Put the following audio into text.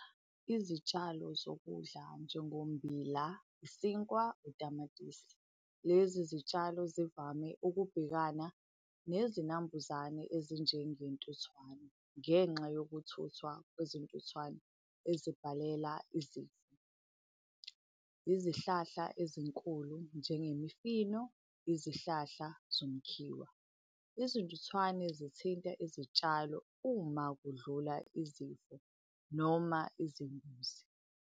Izitshalo zokudla njengommbila, isinkwa, utamatisi. Lezi zitshalo zivame ukubhekana nezinambuzane ezinjengentuthwane, ngenxa yokuthuthwa kwezintuthwane ezibhalela , izihlahla ezinkulu, njengemifino, izihlahla zomkhiwa. Izintuthwane zithinta izitshalo uma kudlula izimvu noma izimbuzi.